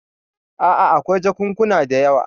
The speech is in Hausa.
A'a, akwai jakunkuna da yawa.